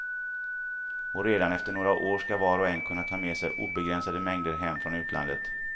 Och redan efter några år ska var och en kunna ta med sig obegränsade mängder hem från utlandet.